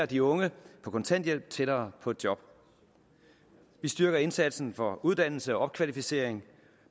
de unge på kontanthjælp tættere på et job vi styrker indsatsen for uddannelse og opkvalificering